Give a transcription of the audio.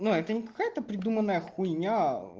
ну это не какая-то придуманная хуйня